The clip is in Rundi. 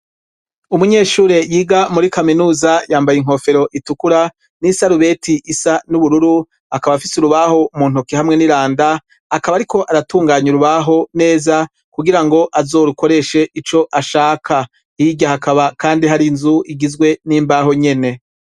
Umunyeshure yiga muri kaminuza yambaye inkofero itukura n'isarubeti isa n'ubururu akaba afise urubaho mu ntoke hamwe n'iranda, akaba ariko aratunganya urubaho neza kugirango azorukoreshe ico ashaka, hirya hakaba kandi harinzu igizwe n'imbaho nyene.